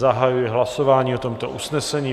Zahajuji hlasování o tomto usnesení.